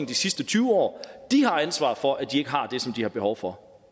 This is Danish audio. de sidste tyve år de har ansvaret for at de ikke har det som de har behov for